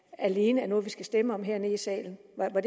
alene er noget vi skal stemme om hernede i salen